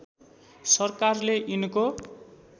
सरकारले यिनको